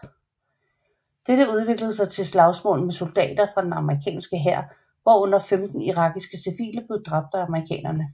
Dette udviklede sig til slagsmål med soldater fra den amerikanske hær hvorunder femten irakiske civile blev dræbt af amerikanerne